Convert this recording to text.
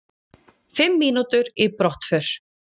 Fimm mínútur í brottför.